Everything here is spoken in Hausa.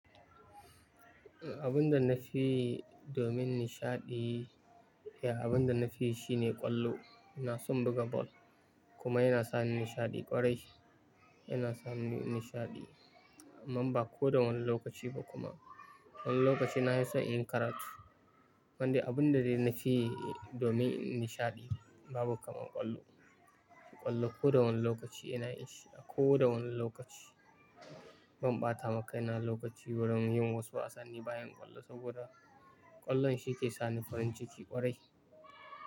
Abun da na fi yi domin nishaɗi, eh abun da na fi yi shine ƙwallo. iNa son buga ball kuma yana sa ni nishaɗi ƙwarai yana sa ni nishaɗi. Amma ba ko da wane lokaci ba kuma. Wani lokaci nahi son in yi karatu. Amman dai abinda dai nafi yi domin in nishadi babu kamar kwallo Ƙwallo ko da wani lokaci ina yi shi, a ko da wane lokaci. Ban ɓata ma kaina lokaci wurin yin wasu wasanni bayan ƙwallo saboda ƙwallon shi ke sa ni farin ciki ƙwarai.